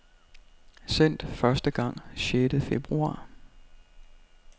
Sendt første gang sjette februar.